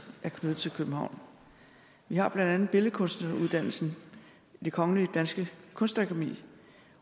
er knyttet til københavn vi har blandt andet billedkunstuddannelsen det kongelige danske kunstakademi